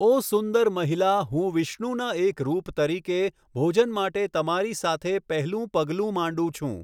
ઓ સુંદર મહિલા, હું વિષ્ણુના એક રૂપ તરીકે, ભોજન માટે તમારી સાથે પહેલું પગલું માંડું છું.